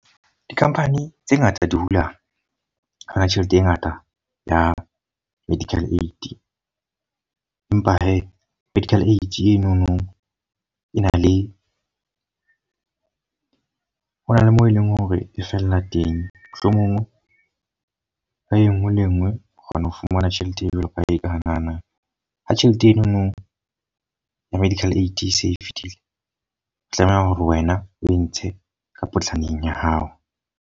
Di-company tse ngata di hula hona tjhelete e ngata ya medical aid. Empa he medical aid e no no e na le, ho na le moo e leng hore e fella teng. Mohlomong ha e nngwe le e nngwe o kgona ho fumana tjhelete e jwalo ka ha eka na na. Ha tjhelete e no no ya medical aid e se e fetile, o tlameha hore wena o e ntshe ka potlaneng ya hao.